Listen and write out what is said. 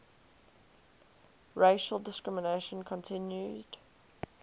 racial discrimination continued